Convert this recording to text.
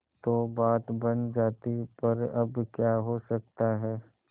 तो बात बन जाती पर अब क्या हो सकता है